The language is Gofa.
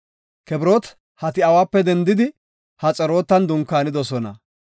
Kibirooti Hati7awape dendidi Haxerootan dunkaanidosona.